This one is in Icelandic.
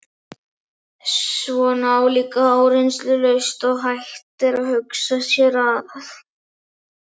Svona álíka áreynslulaust og hægt er að hugsa sér það.